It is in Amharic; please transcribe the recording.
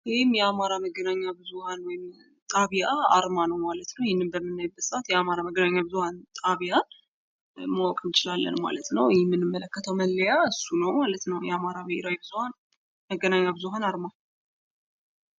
ይህ የአማራ መገናኛ ብዙሃን ጣቢያ አርማ ነው ማለት ነው። ይህንም በምናይበት ጊዜ የአማራ መገናኛ ብዙሀን ጣቢያን ማወቅ እንችላለን ማለት ነው። የምንመለከተው መለያ እሱ ነው። ማለት ነው። የአማራ መገናኛ ብዙሀ አርማ